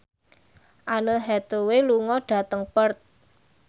Anne Hathaway lunga dhateng Perth